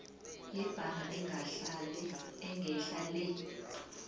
yebhaga engehla le